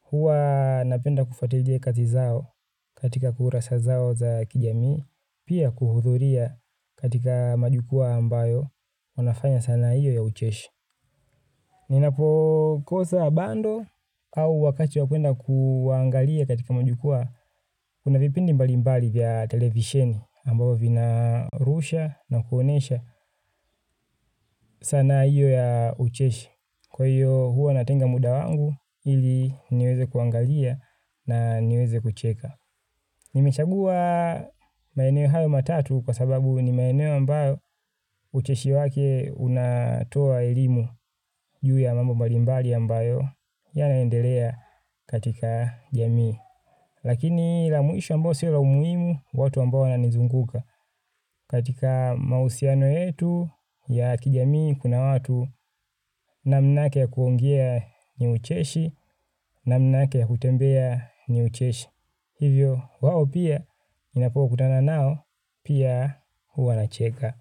Hua napenda kufatilia kazi zao katika kurasa zao za kijami, pia kuhudhuria katika majukua ambayo wanafanya sana hiyo ya ucheshi. Ninapo kosa bando au wakati wakwenda kuangalia katika majukua, kuna vipindi mbali mbali vya televisheni ambapo vinarusha na kuonesha sana hiyo ya ucheshi kwa hiyo huwa natenga muda wangu ili niweze kuangalia na niweze kucheka. Nimechagua maeneo hayo matatu kwa sababu ni maeneo ambayo ucheshi wake unatoa elimu juu ya mambo mbalimbali ambayo yanaendelea katika jamii. Lakini la muisho ambayo sila umuimu watu ambayo ananzunguka katika mausiano yetu ya kijamii kuna watu namnake kuongea ni ucheshi namnake kutembea ni ucheshi. Hivyo, wao pia, ninapokutana nao, pia huwa nacheka.